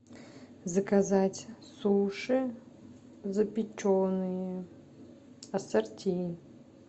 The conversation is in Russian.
заказать суши запеченные ассорти